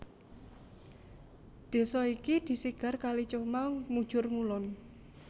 Desa iki disigar kali Comal mujur ngulon